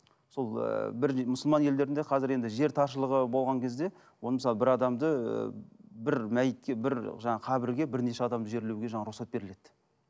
сол ыыы бір мұсылман елдерінде қазір енді жер таршылығы болған кезде оны мысалы бір адамды ыыы бір мәйітке бір жаңағы қабірге бірнеше жерлеуге жаңа рұқсат беріледі